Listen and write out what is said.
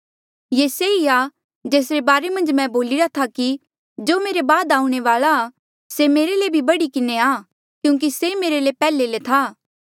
ये से ई आ जेसरे बारे मन्झ मैं बोलिरा था कि जो मेरे बाद आऊणें वाल्आ आ से मेरे ले भी बढ़ी किन्हें आ क्यूंकि से मेरे ले पैहले था